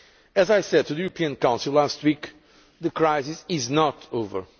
As I said to the European Council last week the crisis is not over.